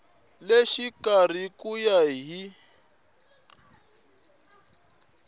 le xikarhi ku ya hi